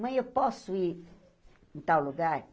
Mãe, eu posso ir em tal lugar?